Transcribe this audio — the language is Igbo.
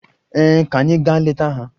Ee, ka anyị gaa leta ha.